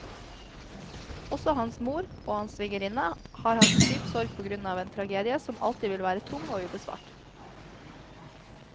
Også hans mor og hans svigerinne har hatt dyp sorg på grunn av en tragedie som alltid vil være tung og ubesvart.